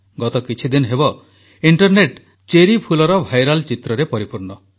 ଗତ କିଛିଦିନ ହେବ ଇଂଟରନେଟ୍ ଚେରି ଫୁଲର ଭାଇରାଲ୍ ଚିତ୍ରରେ ପରିପୂର୍ଣ୍ଣ